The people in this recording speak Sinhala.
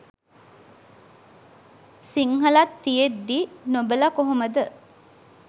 සිංහලත් තියෙද්දි නොබල කොහොමද